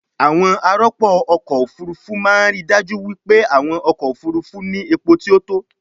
àwọn arọpo-ọkọ̀ òfurufú máa ń ríi dájú wípé àwọn ọkọ̀ òfurufú ní epo tí ó tó